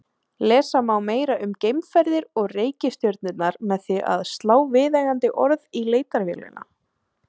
Lesa má meira um geimferðir og reikistjörnurnar með því að slá viðeigandi orð í leitarvélina.